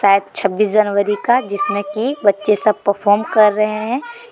शायद छब्बीस जनवरी का जिसमें की बच्चे सब परफॉर्म कर रहे हैं ।